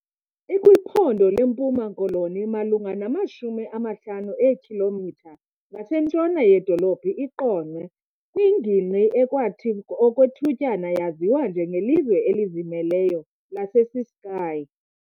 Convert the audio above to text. IkwiPhondo leMpuma Koloni malunga namashumi amahlanu eekhilomitha ngasentshona yedolophu iQonce kwingingqi ekwathi okwethutyana yaziwa njengelizwe "elizimeleyo" laseCiskei.